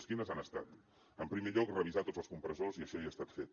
quines han estat en primer lloc revisar tots els compressors i això ja ha estat fet